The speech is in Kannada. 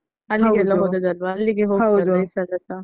ಅಲ್ಲಿಗೆಲ್ಲ ಹೋದದ್ದಲ್ವಾ ಅಲ್ಲಿಗೆ ಹೋಗಿ ಬರುವ ಈ ಸಲಸ.